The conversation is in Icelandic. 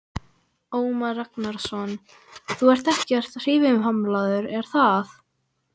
Ómar Ragnarsson: Þú ert ekkert hreyfihamlaður, er það?